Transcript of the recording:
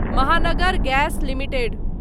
Mahanagar Gas limited